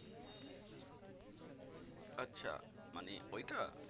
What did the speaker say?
আচ্ছা মানে ওইটা